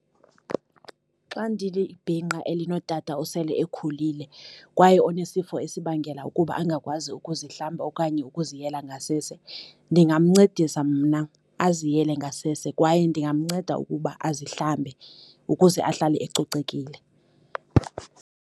Xa ndilibhinqa elinotata osele ekhulile kwaye onesifo esibangela ukuba angakwazi ukuzihlamba okanye ukuziyela ngasese, ndingamncedisa mna aziyele ngasese kwaye ndingamnceda ukuba azihlambe ukuze ahlale ecocekile.